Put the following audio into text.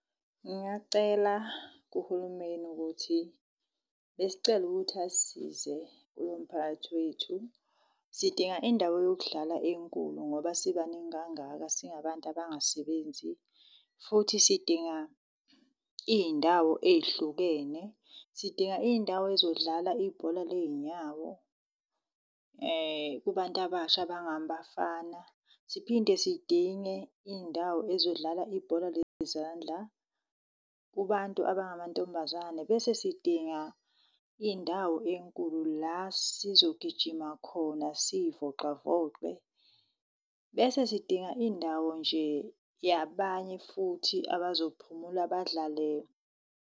Ngingacela kuhulumeni ukuthi besicela ukuthi asisize kulo mphakathi wethu. Sidinga indawo yokudlala enkulu ngoba sibaningi kangaka singabantu abangasebenzi, futhi sidinga iy'ndawo ey'hlukene. Sidinga iy'ndawo ey'zodlala ibhola ley'nyawo kubantu abasha abangabafana, siphinde sidinge iy'ndawo ey'zodlala ibhola lezandla kubantu abangamantombazane, bese sidinga indawo enkulu la sizogijima khona siy'vocavoce. Bese sidinga indawo nje yabanye futhi abazophumula badlale .